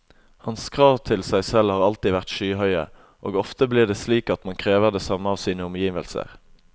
Hans krav til seg selv har alltid vært skyhøye, og ofte blir det slik at man krever det samme av sine omgivelser.